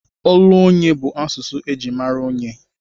Olu onye bụ asụsụ eji mara onyé.